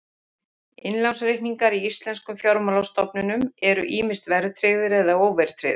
Innlánsreikningar í íslenskum fjármálastofnunum eru ýmist verðtryggðir eða óverðtryggðir.